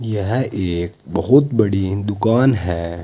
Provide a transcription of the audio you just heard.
यह एक बहुत बड़ी दुकान है।